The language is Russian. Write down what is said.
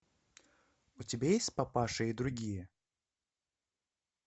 у тебя есть папаша и другие